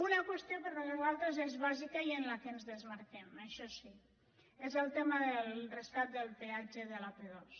una qüestió que per a nosaltres és bàsica i en la qual ens desmarquem això sí és el tema del rescat del peat ge de l’ap·dos